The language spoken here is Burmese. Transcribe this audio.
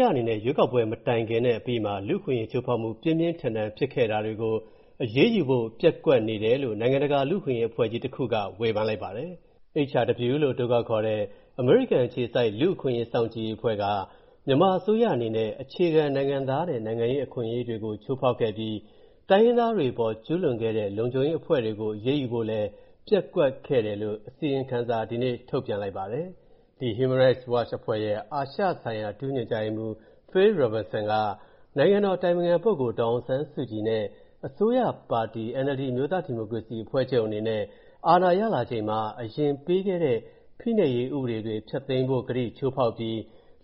ရအနေနဲ့ ရွေးကောက်ပွဲမတိုင်ခင်နဲ့ အပြီးကာလမှာ လူ့အခွင့်အရေးချိုးဖောက်မှု ပြင်းပြင်းထန်ထန်ဖြစ်ခဲ့တာတွေကို အရေးယူဖို့ ပျက်ကွက်နေတယ်လို့ နိုင်ငံတကာလူ့အခွင့်အရေးအဖွဲ့ကြီးတစ်ခုက ဝေဖန်လိုက်ပါတယ်။ HRW လို့ အတိုခေါက်ခေါ်တဲ့ အမေရိကန်အခြေစိုက် လူ့အခွင့်အရေးစောင့်ကြည့်ရေးအဖွဲ့က၊ မြန်မာအစိုးရအနေနဲ့ အခြေခံနိုင်ငံသားနဲ့ နိုင်ငံရေးအခွင့်အရေးတွေကို ချိုးဖောက်ခဲ့ပြီး၊ တိုင်းရင်းသားတွေအပေါ် ကျူးလွန်ခဲ့တဲ့ လုံခြုံရေးအဖွဲ့တွေကို အရေးယူဖို့လည်း ပျက်ကွက်ခဲ့တယ်လို့ အစီရင်ခံစာ ဒီနေ့ ထုတ်ပြန်လိုက်ပါတယ်။ ဒီ Human Rights Watch အဖွဲ့ရဲ့ အာရှဆိုင်ရာ ဒုညွှန်ကြားရေးမှူး Phil Robertson က နိုင်ငံတော်အတိုင်ပင်ခံပုဂ္ဂိုလ် ဒေါ်အောင်ဆန်းစုကြည်နဲ့ အစိုးရပါတီ NLD အမျိုးသားဒီမိုကရေစီအဖွဲ့ချုပ်အနေနဲ့၊ အာဏာရလာချိန်မှာ အရင်ပေးခဲ့တဲ့ ဖိနှိပ်ရေးဥပဒေတွေ ဖျက်သိမ်းဖို့ ဂတိချိုးဖောက်ပြီး